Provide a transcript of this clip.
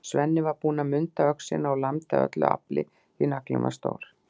Svenni var búinn að munda öxina og lamdi af öllu afli, því naglinn var stór.